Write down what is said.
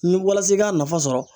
Ni walasa i k'a nafa sɔrɔ